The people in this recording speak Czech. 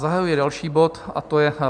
Zahajuji další bod, a to je